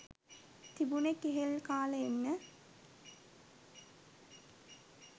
තිබුනෙ කෙහෙල් කාල එන්න.